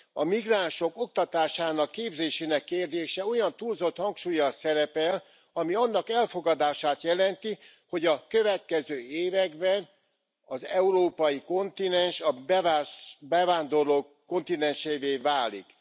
A migránsok oktatásának, képzésének kérdése olyan túlzott hangsúllyal szerepel, ami annak elfogadását jelenti, hogy a következő években az európai kontinens a bevándorlók kontinensévé válik.